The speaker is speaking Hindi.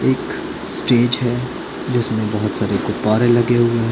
एक स्टीच है जिसमे बहोत सारे गुब्बारे लगे हुए है।